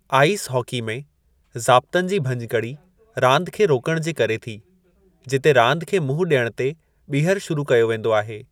Ice hockey में, ज़ाब्तनि जी भञिकड़ी रांदि खे रोकणु जे करे थी, जिते रांदि खे मुंहुं ॾियणु ते ॿीहर शुरू कयो वेंदो आहे।